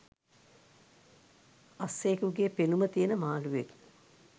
අස්සයෙකුගෙ පෙනුම තියෙන මාළුවෙක්